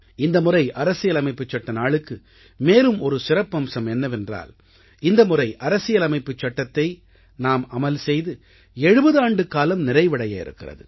இந்தமுறை அரசியலமைப்புச் சட்ட நாளுக்கு மேலும் ஒரு சிறப்பம்சம் என்னவென்றால் இந்த முறை அரசியலமைப்புச் சட்டத்தை நாம் அமல் செய்து 70 ஆண்டுக்காலம் நிறைவடைய இருக்கிறது